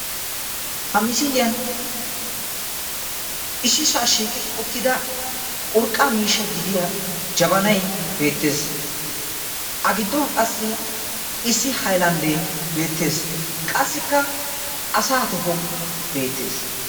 Ha misiliyan issisaa shiiqi uttida urqqaa miishshaa gidida jabanay beettees. A giddon qassi issi hayilanddee beettees. Qassikka asaa tohoy beettees.